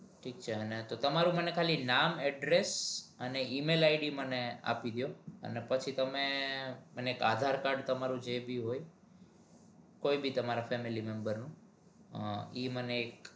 હા ઠીક છે તો તમારું નામ address અને email id મને આપી દો અને પછી તમે એક aadhar card તમારું જે બી હોય તમારા જે ભી હોય કોઇ ભી તમારા family member નું એ મ્ને એક